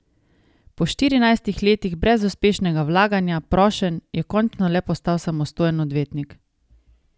Po štirinajstih letih brezuspešnega vlaganja prošenj je končno le postal samostojen odvetnik.